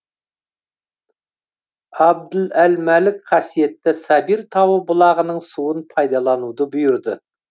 абділ әл мәлік қасиетті сабир тауы бұлағының суын пайдалануды бұйырды